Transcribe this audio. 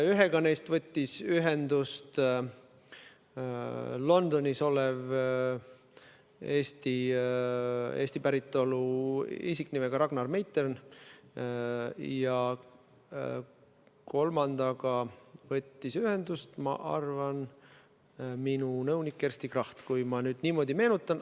Teisega võttis ühendust Londonis olev Eesti päritolu isik nimega Ragnar Meitern ja kolmandaga võttis ühendust, ma arvan, minu nõunik Kersti Kracht, kui ma nüüd meenutan.